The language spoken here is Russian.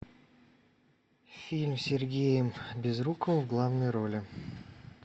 фильм с сергеем безруковым в главной роли